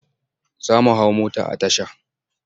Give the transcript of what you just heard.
Za mu hau mota a tasha.